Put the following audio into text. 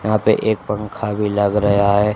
यहां पे एक पंखा भी लग रहा है।